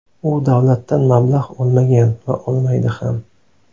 U davlatdan mablag‘ olmagan va olmaydi ham.